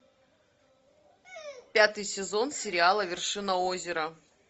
пятый сезон сериала вершина озера